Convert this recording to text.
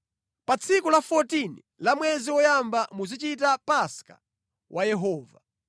“ ‘Pa tsiku la 14 la mwezi woyamba muzichita Paska wa Yehova.